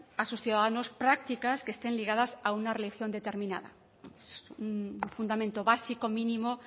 a sus ciudadanos prácticas que estén ligadas a una religión determinada es un fundamento básico mínimo